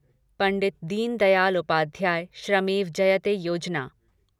Pandit Deendayal Upadhyay Shramev Jayate Yojana